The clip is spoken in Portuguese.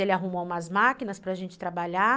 Ele arrumou umas máquinas para gente trabalhar.